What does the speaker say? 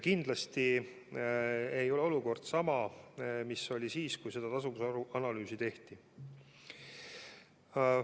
Kindlasti ei ole praegune olukord sama, mis oli siis, kui seda tasuvusanalüüsi tehti.